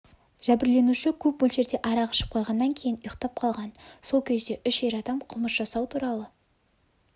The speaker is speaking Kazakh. жәбірленуші көпмөлшерде арақ ішіп қойғаннан кейін ұйықтап қалған сол кезде үш ер адам қылмыс жасау туралы